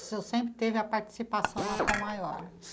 O senhor sempre teve a participação na Tom Maior?